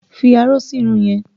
Fi aró sí irun yẹn!